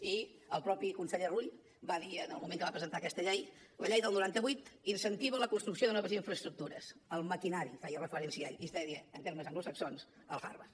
i el mateix conseller rull va dir en el moment que va presentar aquesta llei la llei del noranta vuit incentiva la construcció de noves infraestructures el maquinari feia referència ell que es diria en termes anglosaxons el hardware